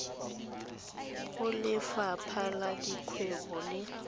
go lefapha la dikgwebo le